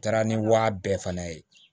Taara ni wa bɛɛ fana ye